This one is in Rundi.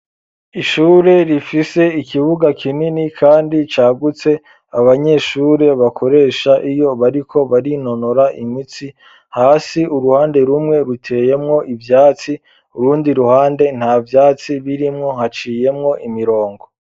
Ishure rifise ikibuga kinini kandi cagutse abanyeshure bakoresha iyo bariko barinonora imitsi hasi uruhande rumwe ruteyemwo ibyatsi urundi ruhande nta vyatsi birimwo haciyemwo imirongo.